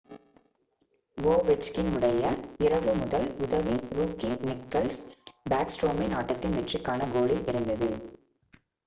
Ovechkin உடைய இரவு முதல் உதவி ரூக்கி நிக்லஸ் பேக்ஸ்ட்ரோமின் ஆட்டத்தின் வெற்றிக்கான கோலில் இருந்தது